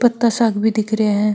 पत्ता सा भी दिख रहा है।